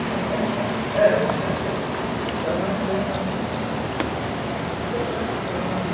Então não adianta muito, era muita decoração.